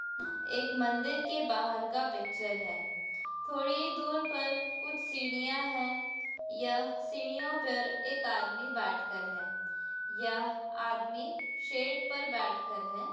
एक मंदिर के बाहर का पिक्चर है। थोड़ी ही दूर पर कुछ सीढियाॅं हैं। यह सीढ़ियों पर एक आदमी बैठ कर है। यह आदमी शेड पर बैठ कर है।